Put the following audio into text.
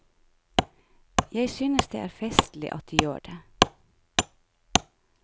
Jeg synes det er festlig at de gjør det.